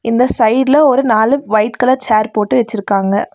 இந்த சைடுல ஒரு நாலு வைட் கலர் சேர் போட்டு வச்சிருக்காங்க.